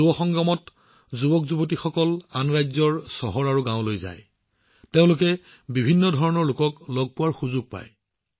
যুৱতীসকলে আন ৰাজ্যৰ চহৰ আৰু গাওঁ ভ্ৰমণ কৰে তেওঁলোকে বিভিন্ন প্ৰকাৰৰ লোকক লগ কৰাৰ সুযোগ পায়